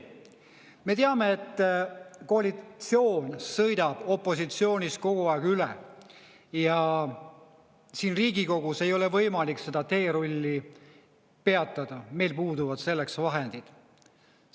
Me teame, et koalitsioon sõidab opositsioonist kogu aeg üle ja siin Riigikogus ei ole võimalik seda teerulli peatada, meil puuduvad selleks vahendid.